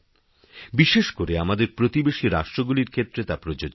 বিশেষ করে আমাদের প্রতিবেশী রাষ্ট্রগুলির ক্ষেত্রে তা প্রযোজ্য